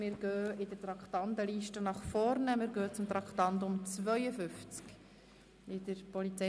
Wir springen in der Traktandenliste nach vorne und behandeln das Traktandum 52.